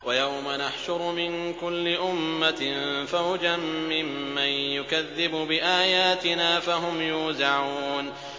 وَيَوْمَ نَحْشُرُ مِن كُلِّ أُمَّةٍ فَوْجًا مِّمَّن يُكَذِّبُ بِآيَاتِنَا فَهُمْ يُوزَعُونَ